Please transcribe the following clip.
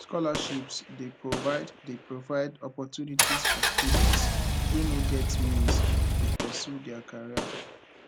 scholarships dey provide dey provide opportunities for students wey no get means to pursue dia education